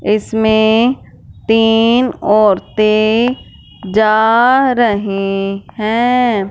इसमें तीन औरतें जा रहे हैं।